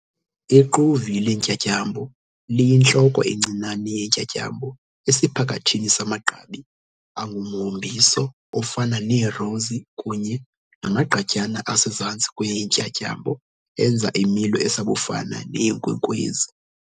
Iquvi lentyatyambo liyintloko encinane yentyatyambo esiphakathini samagqabi angumhombiso ofana neerosi kunye namagqatyana asezantsi kweentyatyambo enza imilo esabufana neyenkwenkwezi.